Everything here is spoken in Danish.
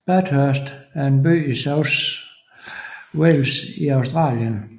Bathurst er en by i New South Wales i Australien